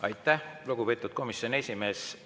Aitäh, lugupeetud komisjoni esimees!